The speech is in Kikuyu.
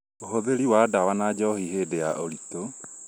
ũhũthĩri wa ndawa na njohi hĩndĩ ya ũritũ